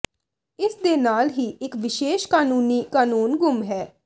ਇਸ ਦੇ ਨਾਲ ਹੀ ਇਕ ਵਿਸ਼ੇਸ਼ ਕਾਨੂੰਨੀ ਕਾਨੂੰਨ ਗੁੰਮ ਹੈ